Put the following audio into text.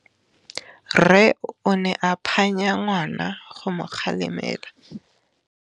Rre o ne a phanya ngwana go mo galemela.